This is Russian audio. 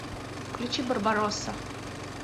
включи барбаросса